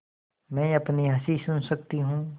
मैं अपनी हँसी सुन सकती हूँ